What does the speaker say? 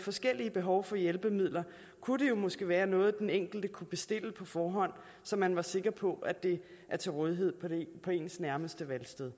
forskellige behov for hjælpemidler kunne det måske være noget den enkelte kunne bestille på forhånd så man var sikker på det var til rådighed på ens nærmeste valgsted